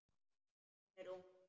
Hún er ung.